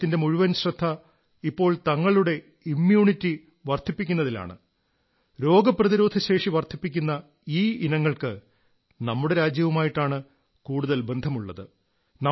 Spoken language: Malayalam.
ലോകത്തിന്റെ മുഴുവൻ ശ്രദ്ധ ഇപ്പോൾ തങ്ങളുടെ ഇമ്യൂണിറ്റി വർധിപ്പിക്കുന്നതിലാണ് രോഗപ്രതിരോധശേഷി വർധിപ്പിക്കുന്ന ഈ ഇനങ്ങൾക്ക് നമ്മുടെ രാജ്യവുമായിട്ടാണ് കൂടുതൽ ബന്ധമുള്ളത്